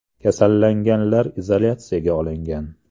Kasallanganlar izolyatsiyaga olingan.